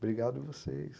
Obrigado a vocês.